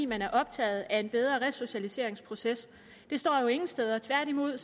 man er optaget af en bedre resocialiseringsproces det står jo ingen steder tværtimod